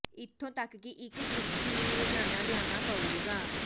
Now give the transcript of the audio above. ਇਥੋਂ ਤੱਕ ਕਿ ਇਕ ਚੁੜਕੀ ਨੂੰ ਰੋਜ਼ਾਨਾ ਲਿਆਉਣਾ ਪਏਗਾ